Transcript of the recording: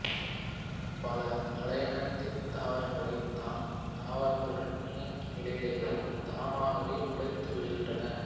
பல அலையாத்தித் தாவரங்கள்தாய்த் தாவரத்துடன் இணைந்த நிலையிலேயே தாமாகவே முளைத்து விடுகின்றன